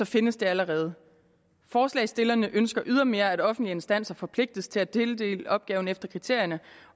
findes de allerede forslagsstillerne ønsker ydermere at offentlige instanser forpligtes til at tildele opgaven efter kriterierne